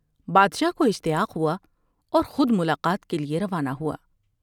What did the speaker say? بادشاہ کواشتیاق ہوا اورخود ملاقات کے لیے روانہ ہوا ۔